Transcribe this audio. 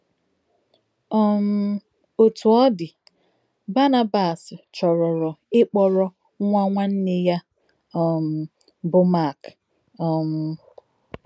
um Òtú ọ̀ dì, Bànábàs chòròrò ìkpòrò nwá nwánnè yà um bụ́ Mák. um